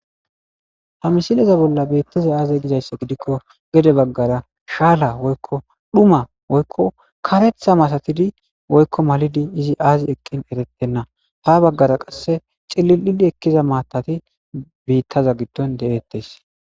Ha misileza bolla beittaza aaze gizayssa gidikko gede baggara shaala woykko dhuma woykko karetha matatidi woykko malidi izi aazi eqqin eretenna ha baggara qasse cililidi ekkiza maatati biittaza giddon de'eettes.